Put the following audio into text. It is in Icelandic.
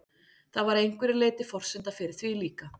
Það var að einhverju leyti forsenda fyrir því líka.